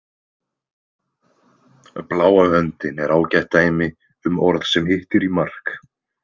Bláa höndin er ágætt dæmi um orð sem hittir í mark.